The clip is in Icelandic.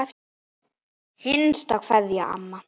HINSTA KVEÐJA Amma.